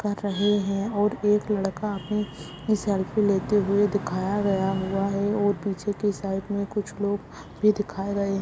कर रहे हैं और एक लड़का अपनी सेल्फ़ी लेते हुए दिखाया गया हुआ है और पीछे के साइड में कुछ लोग भी दिखाए गए --